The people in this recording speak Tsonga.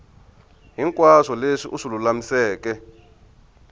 hinkwaswo leswi u swi lulamiseke